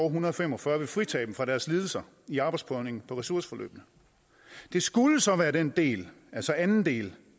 en hundrede og fem og fyrre vil fritage dem for deres lidelser i arbejdsprøvningen på ressourceforløbet det skulle så være den del altså anden del